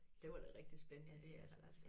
Det var da rigtig spændende altså